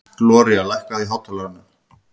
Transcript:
Gloría, lækkaðu í hátalaranum.